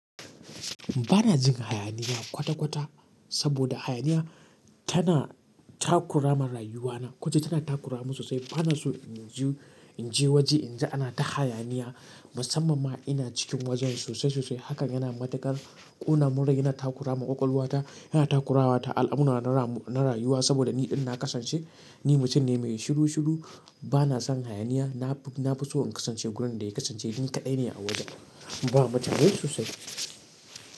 Ba na jin hayaniya kwata-kwata saboda hayaniya tana takura ma rayuwana. Koce tana takura mun sosai. Ba na so in je waje in ji ana ta hayaniya musamman ma ina cikin wajen sosai sosai. Hakan yana matukar ƙona mun rai yana takura ma ƙwaƙwalwata, yana takura wa ta al'amura na rayuwa saboda ni idan na kasance, ni mutum ne mai shiru shiru. Ba na son hayaniya. Na fi so in kasance gurin da yake kasance. Ni kadai ne a wajen ba matune sosai.